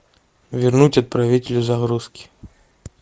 вернуть отправителю загрузки